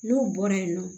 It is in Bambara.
N'u bɔra yen nɔ